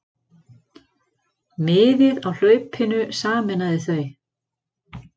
Miðið á hlaupinu sameinaði þau.